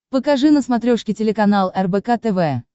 покажи на смотрешке телеканал рбк тв